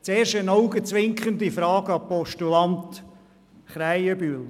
Zuerst eine augenzwinkernde Frage an den Postulanten Krähenbühl: